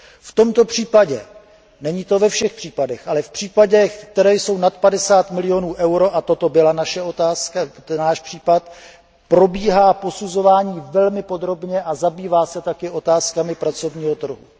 V tomto případě není to ve všech případech, ale v případech, které jsou nad padesát milionů eur, a toto byl ten náš případ probíhá posuzování velmi podrobně a zabývá se taky otázkami pracovního trhu.